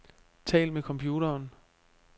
Tal med computeren.